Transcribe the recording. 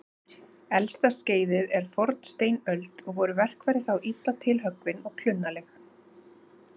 Elsta skeiðið er fornsteinöld og voru verkfæri þá illa tilhöggvin og klunnaleg.